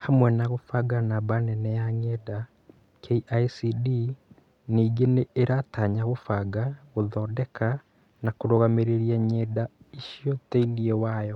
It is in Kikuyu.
Hamwe na kũbanga namba nene ya ng’enda, KICD ningĩ nĩ ĩratanya kũbanga, gũthondeka, na kũrũgamĩrĩra ng'enda icio thĩinĩ wayo.